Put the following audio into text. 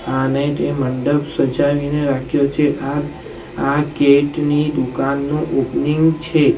આને તે મંડપ સજાવીને રાખ્યો છે આ આ કેટની દુકાનનું ઓપનિંગ છે.